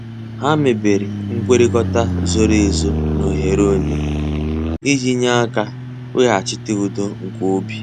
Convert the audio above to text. Ha mebere nkwekọrịta zoro ezo na oghere onye, iji nye aka weghachite udo nke obi.